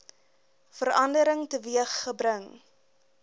verandering teweeg gebring